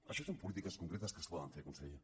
això són polítiques concretes que es poden fer conseller